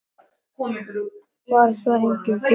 Varð þá enginn til þess.